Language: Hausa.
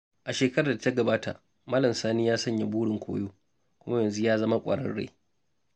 A shekarar da ta gabata, Malam Sani ya sanya burin koyo, kuma yanzu ya zama ƙwararre.